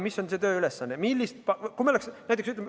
Toon ühe konkreetse näite.